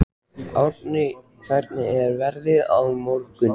Árni, hvernig er veðrið á morgun?